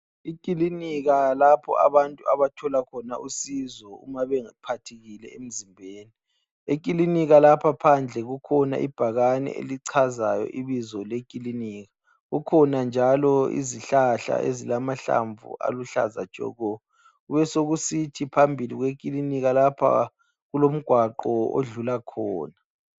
Ikilinika lapha abantu abathola khona usizo uma bephathekile emzimbeni, ekikinika lapha phandle kukhona ibhakane elichazayo ibizo lekilinika, kukhona njalo izihlahla ezilamahlamvu aluhlaza tshoko kubesokusithi phambilii kwekilika lapha kulomgwaqo odlula khona.